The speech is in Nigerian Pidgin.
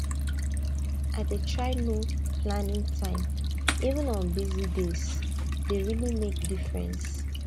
i dey try no planning time even on busy dayse dey really make difference